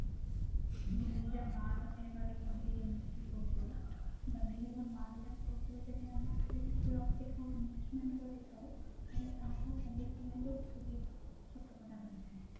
ଦି ହଜାର ବାର ତେରରେ କହିଲେ ଯେମିତି କି ପୂର୍ବରୁ ବା ଦୁଇ ହଜାର ବାର ପୂର୍ବରୁ ଯଦି ଆମେ କିଛି ବି ରଖିଥାଉ investment କରିଥାଉ ତାହାଲେ ତାର ଶତକଡା ରହିଥାଏ